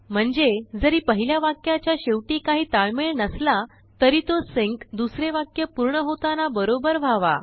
म्हणजे जरी पहिल्यावाक्याच्या शेवटी काही ताळमेळ नसला तरीतो सिंक दुसरे वाक्य पूर्ण होताना बरोबर व्हावा